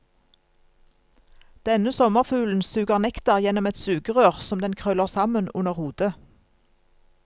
Denne sommerfuglen suger nektar gjennom et sugerør som den krøller sammen under hodet.